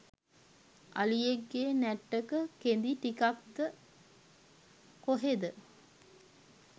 අලියෙක්ගේ නැට්ටක කෙඳි ටිකක්ද කොහෙද